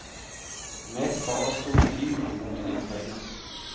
Med ett farer stortiuren mot en inntrenger.